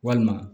Walima